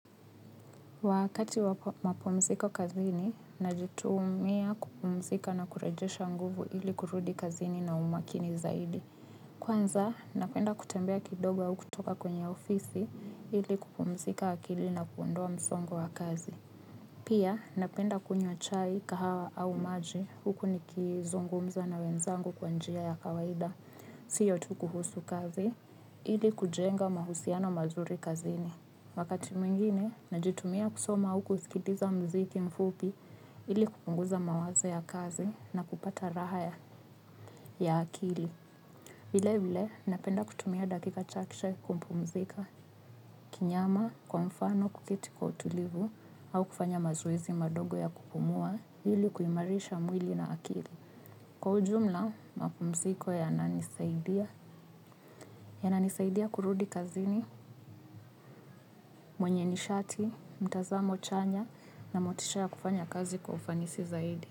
Wakati wa mapumziko kazini, najitumia kupumzika na kurejesha nguvu ili kurudi kazini na umakini zaidi. Kwanza, napenda kutembea kidogo au kutoka kwenye ofisi ili kupumzika akili na kuondoa msongo wa kazi. Pia, napenda kunywa chai kahawa au maji huku nikizungumza na wenzangu kwa njia ya kawaida, siyo tu kuhusu kazi ili kujenga mahusiano mazuri kazini. Wakati mwingine, najitumia kusoma au kusikiliza mziki mfupi ili kupunguza mawaza ya kazi na kupata raha ya ya akili. Vile vile, napenda kutumia dakika chache kupumzika kinyama, kwa mfano kuketi kwa utulivu au kufanya mazoezi madogo ya kupumua ili kuimarisha mwili na akili. Kwa ujumla, mapumziko yana nisaidia, yananisaidia kurudi kazini, mwenye nishati, mtazamo chanya na motisha ya kufanya kazi kwa ufanisi zaidi.